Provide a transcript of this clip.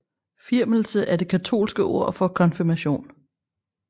Firmelse er det katolske ord for konfirmation